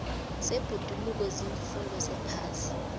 zebhoduluko ziimfundo zephasi